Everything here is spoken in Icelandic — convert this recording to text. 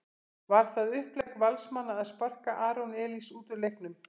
Var það upplegg Valsmanna að sparka Aron Elís út úr leiknum?